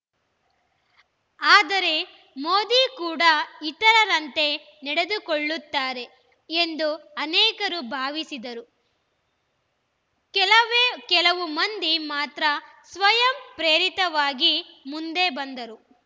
ಆದರೆ ಮೋದಿ ಕೂಡ ಇತರರಂತೆ ನಡೆದುಕೊಳ್ಳುತ್ತಾರೆ ಎಂದು ಅನೇಕರು ಭಾವಿಸಿದರು ಕೆಲವೇ ಕೆಲವು ಮಂದಿ ಮಾತ್ರ ಸ್ವಯಂಪ್ರೇರಿತವಾಗಿ ಮುಂದೆ ಬಂದರು